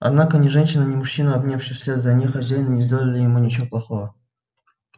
однако ни женщина ни мужчина обнявший вслед за ней хозяина не сделали ему ничего плохого